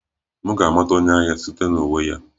M ga-amata onye agha site na uwe ya